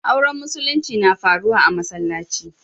Auren musulinci na faruwa a'masallaci.